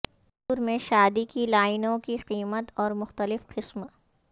کھجور میں شادی کی لائنوں کے قیمت اور مختلف قسم